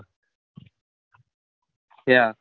ક્યાં